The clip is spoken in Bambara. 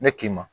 Ne k'i ma